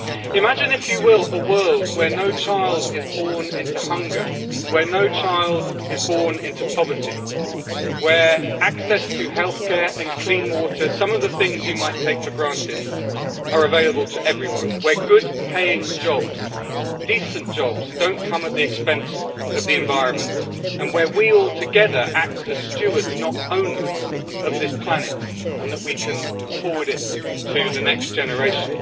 Imagine if you will, a world where no child is born into hunger, where no child is born into poverty, where access to health care and clean water some of the things you might take for granted are available to everyone, where well paid jobs, decent jobs, don't come at the expense of the environment, and where we all act together as stewards, not owners, of this planet, and that we can forward it to the next generation.